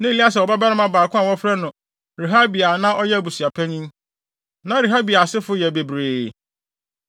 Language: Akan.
Na Elieser wɔ ɔbabarima baako a wɔfrɛ no Rehabia a na ɔyɛ abusuapanyin. Na Rehabia asefo yɛ bebree.